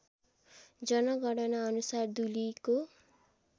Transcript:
जनगणना अनुसार दुलीको